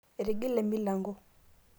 etigile emilango